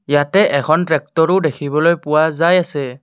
ইয়াতে এখন ট্ৰেকটৰো দেখিবলৈ পোৱা যায় আছে।